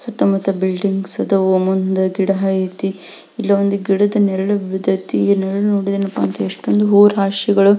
ಸುತ್ತ ಮುತ್ತ ಬಿಲ್ಡಿಂಗ್ಸ್ ಆದವು ಮುಂದೆ ಗಿಡ ಐತಿ ಇಲ್ಲ ಒಂದು ಗಿಡದ ನೆರಳು ಬಿದೈತಿ ನೆರಳು ನೋಡಿದ್ರೆ ಏನಪ್ಪಾ ಅಂದ್ರೆ ಎಷ್ಟೊಂದು ಹೂವು ರಾಶಿಗಳು --